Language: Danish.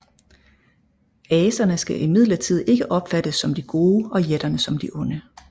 Aserne skal imidlertid ikke opfattes som de gode og jætterne som de onde